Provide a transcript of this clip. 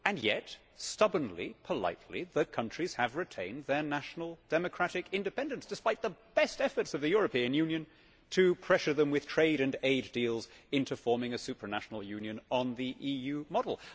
And yet, stubbornly, politely, the countries have retained their national democratic independence, despite the best efforts of the European Union to pressure them with trade and aid deals into forming a supranational union on the EU model.